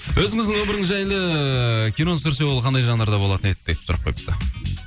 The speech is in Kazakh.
өзіңіздің өміріңіз жайлы кино түсірсе ол қандай жанрда болатын еді деп сұрақ қойыпты